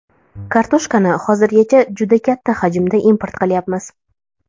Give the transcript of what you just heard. Kartoshkani hozirgacha juda katta hajmda import qilyapmiz.